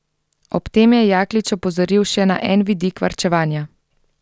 Ob tem je Jaklič opozoril še na en vidik varčevanja.